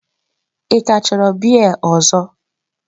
Ị ka chọrọ biya ọzọ?